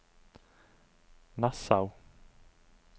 Nassau